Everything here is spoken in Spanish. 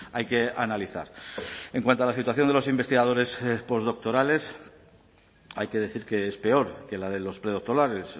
hay que analizar en cuanto a la situación de los investigadores post doctorales hay que decir que es peor que la de los predoctorales